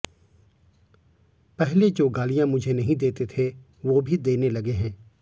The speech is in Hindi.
पहले जो गालियां मुझे नहीं देते थे वो भी देने लगे हैं